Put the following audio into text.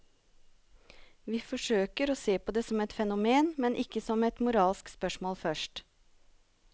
Vi forsøker å se på det som et fenomen, ikke som et moralsk spørsmål først.